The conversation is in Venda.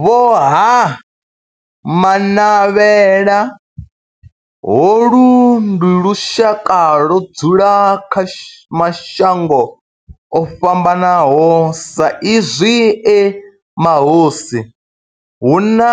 Vho Ha-Manavhela, holu ndi lushaka ludzula kha mashango ofhambanaho sa izwi e mahosi hu na